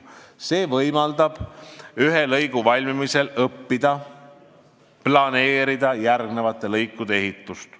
See võimaldab ühe lõigu valmimisel õppida ja paremini planeerida järgmiste lõikude ehitust.